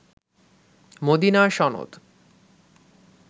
মদিনার সনদ